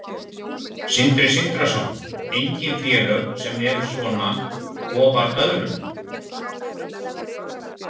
Sindri Sindrason: Engin félög sem eru svona ofar öðrum?